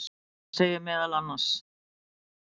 Þarna segir meðal annars: